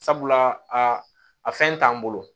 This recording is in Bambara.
Sabula a fɛn t'an bolo